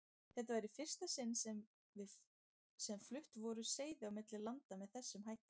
Þetta var í fyrsta sinni sem flutt voru seiði á milli landa með þessum hætti.